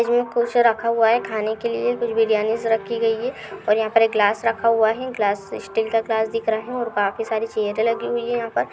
ये कुछ रखा हुआ है। खाने लिए कुछ बिरयानी सी रखी गई है और यहा पर एक ग्लास रखा हुआ है। ग्लास स्टील का ग्लास दिख रहा है और काफी सारी चैयरे लगी हुई हैं यहाँ पर।